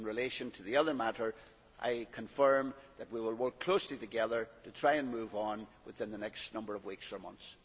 In relation to the other matter, I confirm that we will work closely together to try and move on within the next number of weeks or months.